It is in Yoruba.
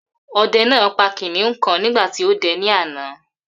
Ode pa kiniun kan nigba ti ode ni ana.